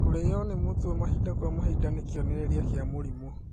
Kũrĩo nĩ mũtwe mahinda kwa mahinda nĩ kĩonereria kĩa mũrimũ